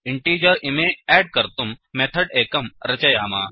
integer इमे add कर्तुं method एकं रचयाम